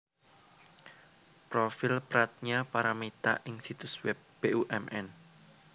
Profil Pradnya Paramita ing situs web Bumn